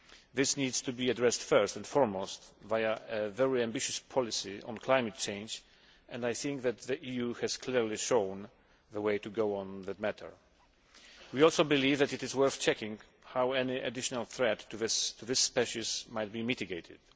This needs to be addressed first and foremost via a very ambitious policy on climate change and I think that the EU has clearly shown the way to go in the matter. We also believe that it is worth checking how any additional threat to this species might be mitigated.